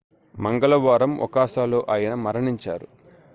మంగళవారం ఒసాకాలో ఆయన మరణించారు